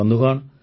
ବନ୍ଧୁଗଣ